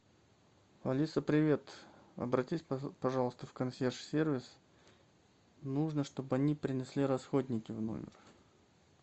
алиса привет обратись пожалуйста в консьерж сервис нужно чтобы они принесли расходники в номер